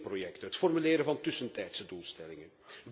door twinningprojecten, het formuleren van tussentijdse doelstellingen.